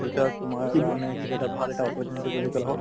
future ত তোমাৰ কাৰণে সেইটো এটা ভাল এটা opportunity বুলি